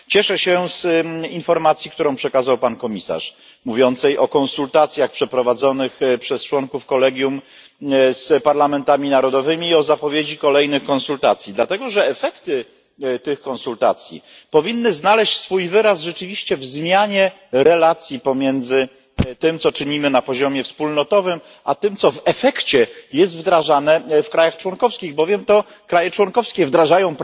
Cieszę się z informacji, którą przekazał pan komisarz, dotyczącej konsultacji przeprowadzonych przez członków kolegium z parlamentami narodowymi oraz zapowiedzi kolejnych konsultacji, dlatego że wyniki tych konsultacji powinny znaleźć swój wyraz w rzeczywistej zmianie relacji pomiędzy tym, co czynimy na poziomie wspólnotowym a tym co w efekcie jest wdrażane w państwach członkowskich, bowiem to państwa członkowskie wdrażają